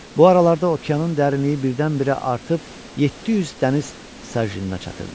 Bu aralarda okeanın dərinliyi birdən-birə artıb 700 dəniz sarjinına çatırdı.